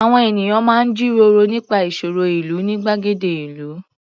Àwọn ènìyàn máa ń jíròró nípa ìṣòro ìlú ní gbàgede ìlú.